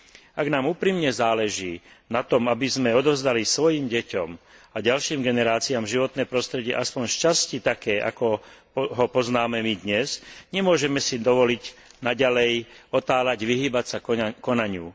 Ak nám úprimne záleží na tom, aby sme odovzdali svojim deťom a ďalším generáciám životné prostredie aspoň sčasti také, ako ho poznáme my dnes, nemôžeme si dovoliť naďalej otáľať, vyhýbať sa konaniu.